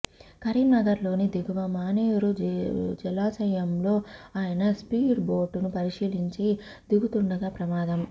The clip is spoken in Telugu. కరీంనగర్లోని దిగువ మానేరు జలాశయంలో ఆయన స్పీడ్ బోటును పరిశీలించి దిగుతుండగా ప్రమాదం